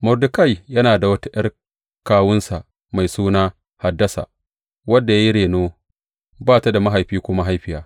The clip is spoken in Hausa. Mordekai yana da wata ’yar kawunsa mai suna Hadassa, wanda ya yi reno, ba ta da mahaifi ko mahaifiya.